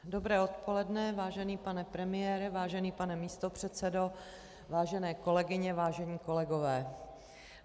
Dobré odpoledne, vážený pane premiére, vážený pane místopředsedo, vážené kolegyně, vážení kolegové.